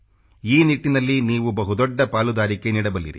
ಈ ನಿಟ್ಟಿನಲ್ಲಿ ನೀವು ಬಹು ದೊಡ್ಡ ಪಾಲುದಾರಿಕೆ ನೀಡಬಲ್ಲಿರಿ